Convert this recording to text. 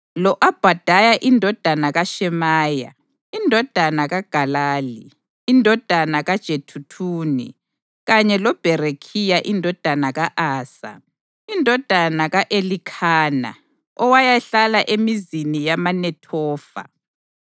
lo-Obhadaya indodana kaShemaya, indodana kaGalali, indodana kaJeduthuni, kanye loBherekhiya indodana ka-Asa, indodana ka-Elikhana, owayehlala emizini yamaNethofa.